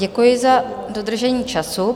Děkuji za dodržení času.